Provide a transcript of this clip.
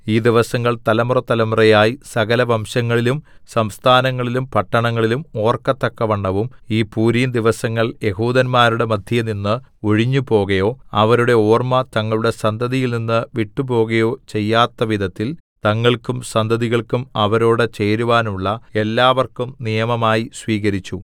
ഈ ദിവസങ്ങൾ തലമുറതലമുറയായി സകലവംശങ്ങളിലും സംസ്ഥാനങ്ങളിലും പട്ടണങ്ങളിലും ഓർക്കത്തക്കവണ്ണവും ഈ പൂരീംദിവസങ്ങൾ യെഹൂദന്മാരുടെ മദ്ധ്യേനിന്ന് ഒഴിഞ്ഞുപോകയോ അവയുടെ ഓർമ്മ തങ്ങളുടെ സന്തതിയിൽനിന്ന് വിട്ട് പോകയോ ചെയ്യാത്തവിധത്തിൽ തങ്ങൾക്കും സന്തതികൾക്കും അവരോട് ചേരുവാനുള്ള എല്ലാവർക്കും നിയമമായി സ്വീകരിച്ചു